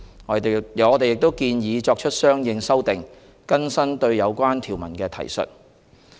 我們亦建議作出相應修訂，更新對有關條文的提述。